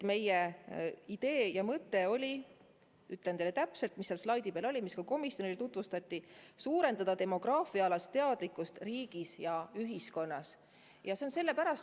Meie idee ja mõte oli – ütlen teile täpselt, mis seal slaidi peal oli, mida ka komisjonile tutvustati – suurendada demograafiaalast teadlikkust riigis ja ühiskonnas.